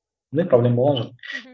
ондай проблема болған жоқ